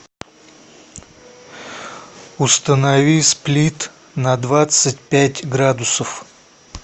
установи сплит на двадцать пять градусов